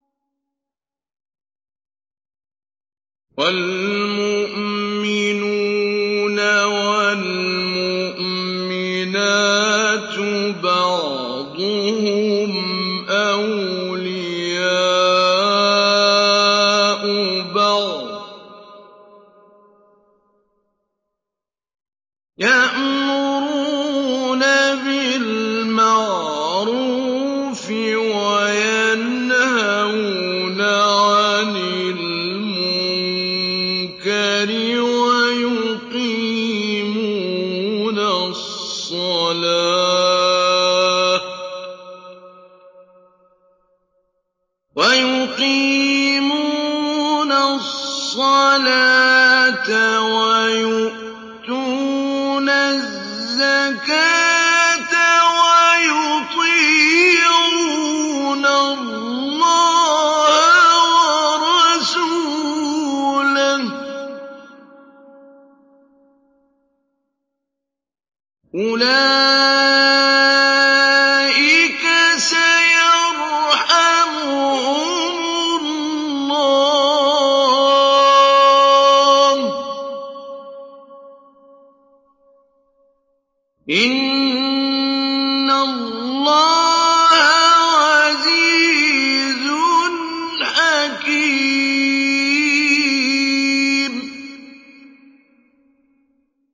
وَالْمُؤْمِنُونَ وَالْمُؤْمِنَاتُ بَعْضُهُمْ أَوْلِيَاءُ بَعْضٍ ۚ يَأْمُرُونَ بِالْمَعْرُوفِ وَيَنْهَوْنَ عَنِ الْمُنكَرِ وَيُقِيمُونَ الصَّلَاةَ وَيُؤْتُونَ الزَّكَاةَ وَيُطِيعُونَ اللَّهَ وَرَسُولَهُ ۚ أُولَٰئِكَ سَيَرْحَمُهُمُ اللَّهُ ۗ إِنَّ اللَّهَ عَزِيزٌ حَكِيمٌ